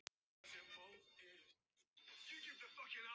Þegar öllu er á botninn hvolft.